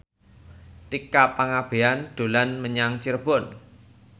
Tika Pangabean dolan menyang Cirebon